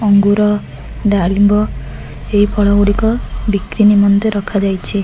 ଅଙ୍ଗୁର ଡାଳିମ୍ବ ଏଇ ଫଳ ଗୁଡ଼ିକ ବିକ୍ରି ନିମନ୍ତେ ରଖା ଯାଇଚି।